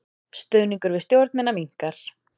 Stuðningur við stjórnina minnkar